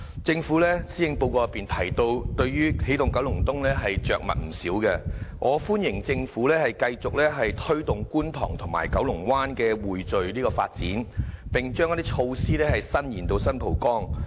政府在施政報告對"起動九龍東"的着墨不少，我歡迎政府繼續推動觀塘和九龍灣的匯聚發展，並將一些措施伸延至新蒲崗。